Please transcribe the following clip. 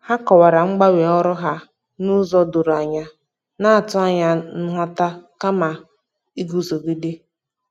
Ha kọwara mgbanwe ọrụ ha n'ụzọ doro anya, na-atụ anya nghọta kama iguzogide.